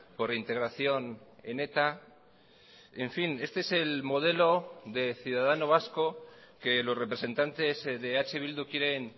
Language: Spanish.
por integración en eta en fin este es el modelo de ciudadano vasco que los representantes de eh bildu quieren